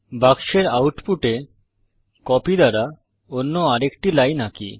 বাক্সের আউটপুট এ কপি দ্বারা অন্য আরেকটি লাইন আঁকি